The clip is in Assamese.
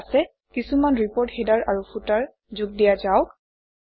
ঠিক আছে কিছুমান ৰিপৰ্ট হেডাৰ আৰু ফুটাৰ যোগ দিয়া যাওক